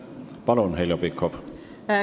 Palun, Heljo Pikhof!